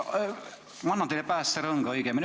Ma annan teile praegu päästerõnga.